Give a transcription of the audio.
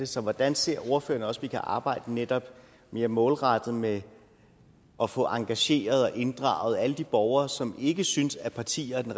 så hvordan ser ordføreren også kan arbejde netop mere målrettet med at få engageret og inddraget alle de borgere som ikke synes at partierne